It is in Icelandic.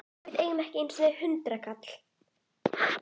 Við eigum ekki einu sinni hundraðkall!